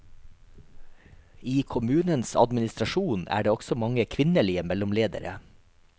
I kommunens administrasjon er det også mange kvinnelige mellomledere.